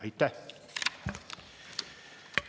Aitäh!